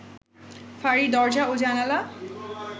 ফাঁড়ির দরজা ও জানালা